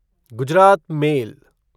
Gujarat mail